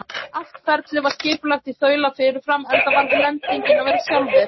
Allt ferlið var skipulagt í þaula fyrirfram, enda varð lendingin að vera sjálfvirk.